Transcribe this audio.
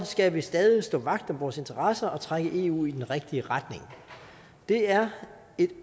skal vi stadig stå vagt om vores interesser og trække eu i den rigtige retning det er et